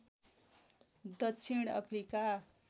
दक्षिण अफ्रिका